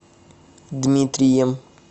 дмитрием